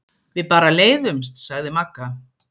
Við bara leiðumst, sagði Magga.